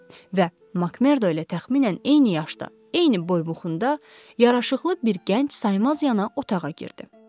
Və MakMerdo ilə təxminən eyni yaşda, eyni boybuxunda, yaraşıqlı bir gənc saymaz yana otağa girdi.